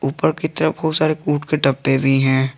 ऊपर की तरफ बहुत सारे कुट के डब्बे भी हैं।